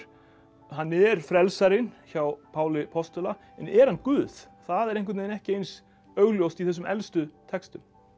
hann er frelsarinn hjá Páli postula en er hann guð það er einhvern veginn ekki eins augljóst í þessum elstu textum